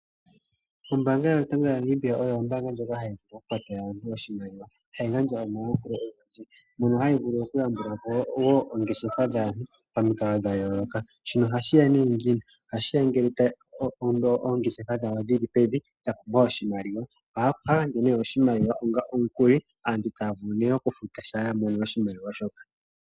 Ombaanga yotango moNamibia oyo ombaanga ndjoka hayi vulu okukwatela aantu oshimaliwa. Hayi gandja omayakulo ogendji mono hayi vulu wo okuyambula po oongeshefa odhindji pamikalo dha yooloka. Shino ohashi ya nee ngiini? Ohashi ya ngele oongehefa dhawo dhi li pevi dha pumbwa oshimaliwa. Ohaya gandja nee oshimaliwa onga omukuli, aantu taya vulu nee okufuta shampa ya mono oshimaliwa shoka.